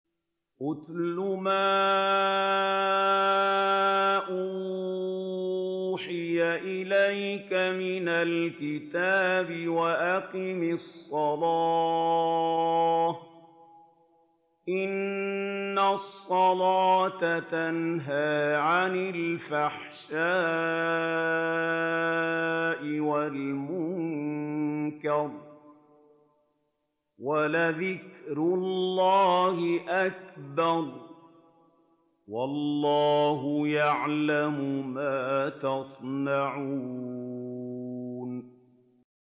اتْلُ مَا أُوحِيَ إِلَيْكَ مِنَ الْكِتَابِ وَأَقِمِ الصَّلَاةَ ۖ إِنَّ الصَّلَاةَ تَنْهَىٰ عَنِ الْفَحْشَاءِ وَالْمُنكَرِ ۗ وَلَذِكْرُ اللَّهِ أَكْبَرُ ۗ وَاللَّهُ يَعْلَمُ مَا تَصْنَعُونَ